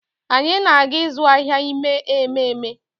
Anyị na-aga ịzụ ahịa ime ememe